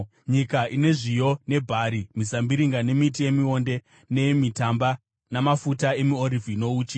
nyika ine zviyo nebhari, mizambiringa nemiti yemionde, neyemitamba, namafuta emiorivhi nouchi;